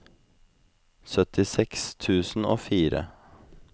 syttiseks tusen og fire